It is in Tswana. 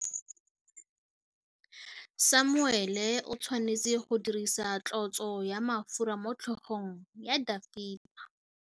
Samuele o tshwanetse go dirisa tlotsô ya mafura motlhôgong ya Dafita.